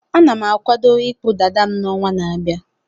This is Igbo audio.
Ana m akwado ịkpụ dada m n'ọnwa na-abịa.